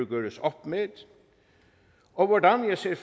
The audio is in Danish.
gøres op med og hvordan jeg ser